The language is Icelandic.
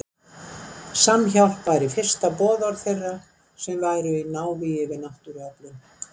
Samhjálp væri fyrsta boðorð þeirra sem væru í návígi við náttúruöflin.